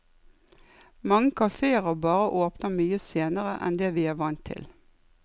Mange kafeer og barer åpner mye senere enn det vi er vant til.